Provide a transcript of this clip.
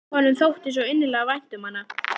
Honum þótti svo innilega vænt um hana.